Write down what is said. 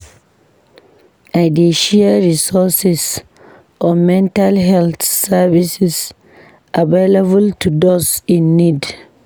I dey share resources on mental health services available to those in need.